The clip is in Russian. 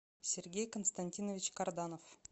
сергей константинович карданов